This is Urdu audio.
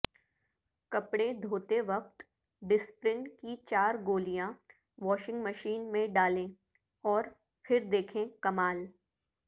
کپڑے دھوتے وقت ڈسپرین کی چار گولیاں واشنگ مشین میں ڈالیں اور پھر دیکھیں کمال